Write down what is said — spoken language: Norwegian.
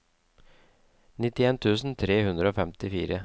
nittien tusen tre hundre og femtifire